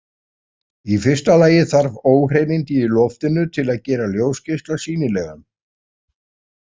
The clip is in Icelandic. Í fyrsta lagi þarf óhreinindi í loftinu til að gera ljósgeisla sýnilegan.